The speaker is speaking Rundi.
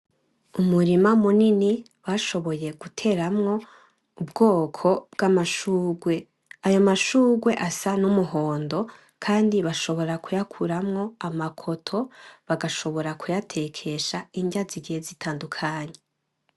Umurima munini bashoboye guteramwo ubwoko bwamashurwe , ayo mashurwe asa numuhondo kandi bashobora kuyakoramwo amakoto bashobora kuyatekesha inrya zigiye zitandukanye